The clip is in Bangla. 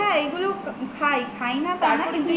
হ্যা এগুলো খাই খাইনা তা নয়